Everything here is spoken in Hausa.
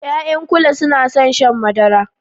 Ya'yan kule suna son shan madara